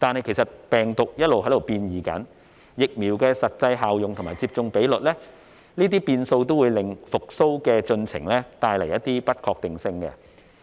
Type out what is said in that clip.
但是，病毒變異、疫苗實際效用和接種比率都會為復蘇的進程帶來不確定性。